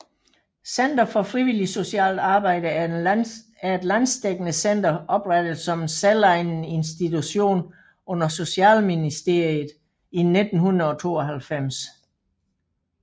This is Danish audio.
Center for Frivilligt Socialt Arbejde er et landsdækkende center oprettet som en selvejende institution under Socialministeriet i 1992